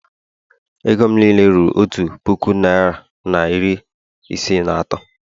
Ego m niile ruru otu puku naira na iri ise na atọ